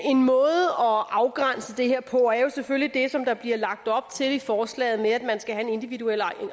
afgrænse det her på er jo selvfølgelig det som der bliver lagt op til i forslaget med at man skal have en individuel